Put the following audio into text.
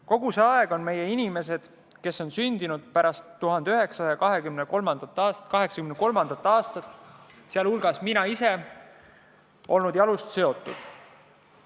Kogu see aeg on meie inimesed, kes on sündinud pärast 1983. aastat, sh ka mina, olnud jalust seotud.